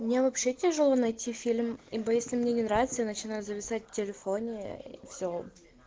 мне вообще тяжело найти фильм ибо если мне не нравится я начинаю зависать в телефоне и все